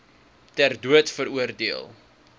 ter dood veroordeel